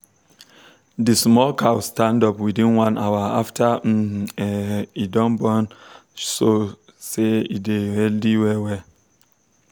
the small cow stand up within one hour after um e um born show say e dey healthy well well.